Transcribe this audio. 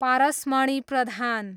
Parasmani Pradhan